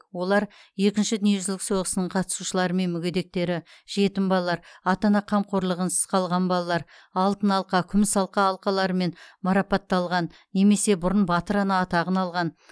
олар екінші дүниежүзілік соғысының қатысушылары мен мүгедектері жетім балалар ата ана қамқорлығынсыз қалған балалар алтын алқа күміс алқа алқаларымен марапатталған немесе бұрын батыр ана атағын алған